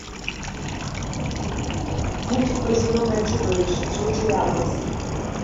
мультик про зеленое чудовище джей джей абрамс